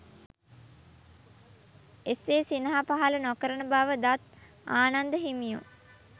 එසේ සිනහ පහළ නොකරන බව දත් ආනන්ද හිමියෝ